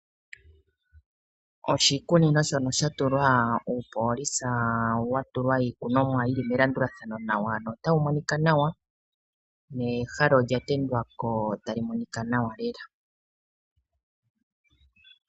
Oshikunino shono sha tulwa uupoolisa wa tulwa iikunomwa yili melandulathano nawa notawu monika nawa, nehala olya tendwa ko tali monika nawa lela.